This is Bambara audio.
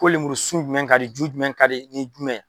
Ko lemuru sun jumɛn ka di, jumɛn ka di ni jumɛn ye?